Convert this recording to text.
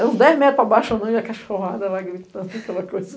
Era uns dez metros abaixo ou não e a cachorrada lá gritando aquela coisa.